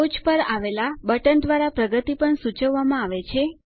ટોચ પર આવેલા બટન દ્વારા પ્રગતિ પણ સૂચવવામાં આવે છે